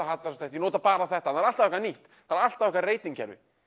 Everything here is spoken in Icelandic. hallærislegt ég nota bara þetta það er alltaf eitthvað nýtt það er alltaf eitthvað ratingkerfi